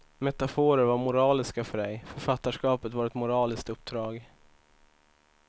Metaforer var moraliska för dig, författarskapet var ett moraliskt uppdrag.